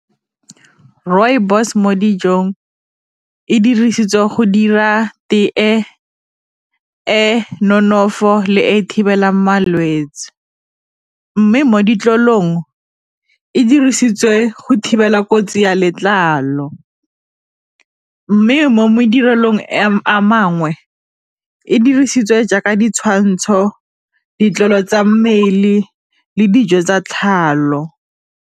Rooibos mo dijong e dirisetswa go dira tee e nonofo le e thibelang malwetse, mme mo ditlolong e dirisiwa e go thibela kotsi ya letlalo, mme mo madirelong a mangwe e dirisitswe jaaka ditshwantsho ditlolo tsa mmele le dijo tsa .